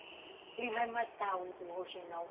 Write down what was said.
Ele vai matar o o rouxinol.